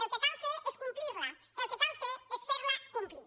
el que cal fer és complirla el que cal fer és ferla complir